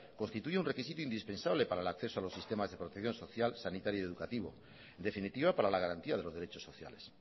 constituye un requisito indispensable para el acceso a los sistemas de protección social sanitaria y educativo en definitiva para la garantía de los derechos sociales